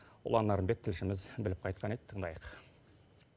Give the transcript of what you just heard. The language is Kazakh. ұлан нарынбек тілшіміз біліп қайтқан еді тыңдайық